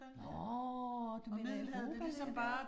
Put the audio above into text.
Nåh, du mener Europa den der